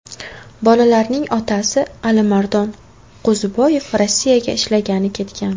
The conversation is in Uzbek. Bolalarning otasi Alimardon Qo‘ziboyev Rossiyaga ishlagani ketgan.